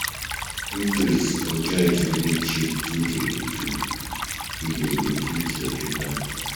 Eatries or joint wey de cheap too de you fit locate am